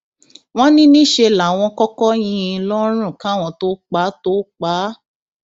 wọn ní níṣẹ láwọn kọkọ yín in lọrùn káwọn tóo pa tóo pa á